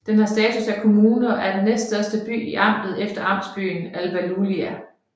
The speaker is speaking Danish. Den har status af kommune og er den næststørste by i amtet efter amtsbyen Alba Iulia